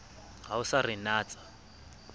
ha o sa re natsa